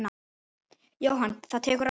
Jóhann: Það tekur á?